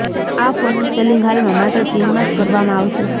આ ફોનનું સેલિંગ હાલમાં માત્ર ચીનમાં જ કરવામાં આવશે